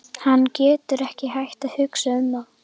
Hann getur ekki hætt að hugsa um það.